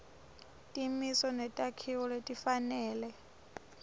timiso netakhiwo letifanele